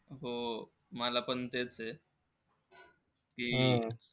हो. मला पण तेच आहे की,